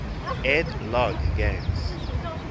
ed logg games